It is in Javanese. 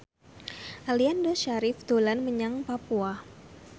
Aliando Syarif dolan menyang Papua